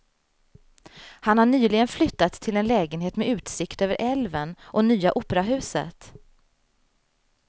Han har nyligen flyttat till en lägenhet med utsikt över älven och nya operahuset.